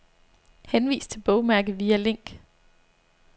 Henvis til bogmærke via link.